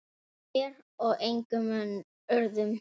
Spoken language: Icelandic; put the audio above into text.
Þér og engum öðrum.